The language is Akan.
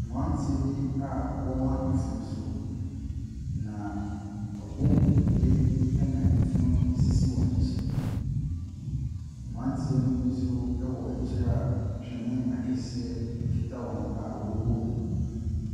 Mmranteɛ bi a ɔrema efunu so na wɛbu nkotodwe ɛna efunu no sisi wɔn ɛkyi. Mmaranteɛ no bi nso wɔ akyire a twene akɛseɛ kita wɔn a ɔrebɔ mu.